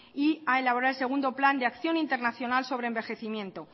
y a elaborar el segundo plan de acción internacional sobre envejecimiento